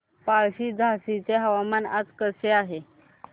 पळशी झाशीचे हवामान आज कसे आहे